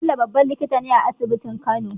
Bello babban likitane a asibitin kano